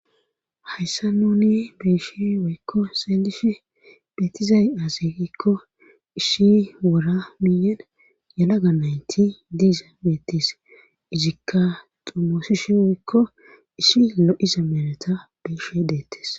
hayssa nuni beeshi woykko xelishe beettizay asegikko isshi wora miyen yalaga nayti diiza beettis izikka xumoosishi woykko isshi lo7iza mereta beeshe deettes